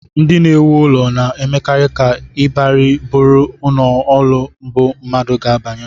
Ndị na-ewu ụlọ na-emekarị ka ịbarị bụrụ ọnụụlọ mbụ mmadụ ga-abanye